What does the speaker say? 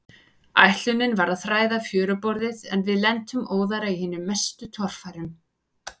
Ætlunin var að þræða fjöruborðið, en við lentum óðara í hinum mestu torfærum.